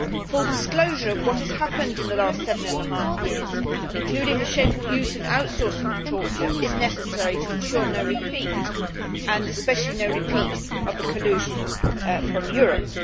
Full disclosure of what has happened in the last seven and a half years, including the shameful use of the outsourcing of torture, is necessary to ensure that there is no repeat, and especially no repeat of the collusion from Europe.